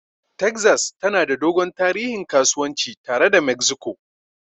Texas tana da dogon tarihin kasuwanci tare da Mexico.